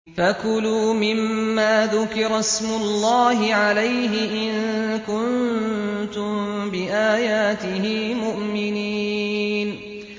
فَكُلُوا مِمَّا ذُكِرَ اسْمُ اللَّهِ عَلَيْهِ إِن كُنتُم بِآيَاتِهِ مُؤْمِنِينَ